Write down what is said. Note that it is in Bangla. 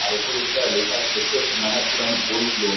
আর উপরে যেটা লেখা আছে দেখতে পাচ্ছি মনাপুরম গোল্ড লোন ।